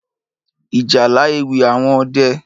Ìjálá Éwì áwòn õdè